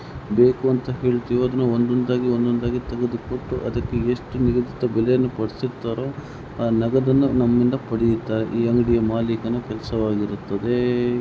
ಬೇಕು ಅಂತ ಕೇಳಿದಾಗ ಒಂದೊಂದಾಗಿ ಒಂದೊಂದಾಗಿ ತೆಗೆದುಕೊಡುತ್ತಾರೆ ಎಷ್ಟು ಬೇಕಾದರೂ ಕೊಡುತ್ತಾರೆ ಅದೇ ಮಾಲೀಕನ ಕೆಲಸವಾಗಿರುತ್ತದೆ.